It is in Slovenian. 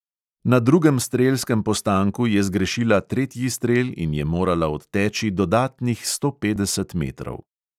Na drugem strelskem postanku je zgrešila tretji strel in je morala odteči dodatnih sto petdeset metrov.